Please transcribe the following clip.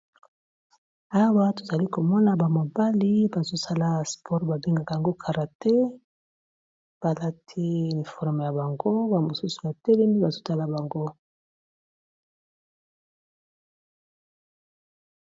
Awa, tozali komona ba mobali bazo kosala spore, babengaka yango karate. Balati uniforme ya bango. Bamosusu batelemi bazotala bango.